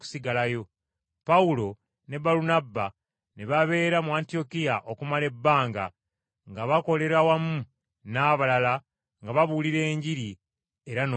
Pawulo ne Balunabba ne babeera mu Antiyokiya okumala ebbanga nga bakolera wamu n’abalala nga babuuliira Enjiri era n’okuyigiriza.